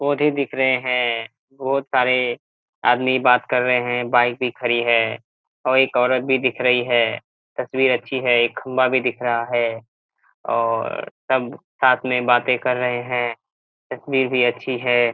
पौधे दिख रहे हैं बहुत सारे आदमी बात कर रहे हैं बाइक भी खड़ी है और एक औरत भी दिख रही है तस्वीर अच्छी है एक खंभा भी दिख रहा है और सब साथ में बातें कर रहे हैं तस्वीर भी अच्छी है।